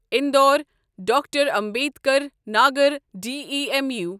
Indore doctor Ambedkar Nagar demo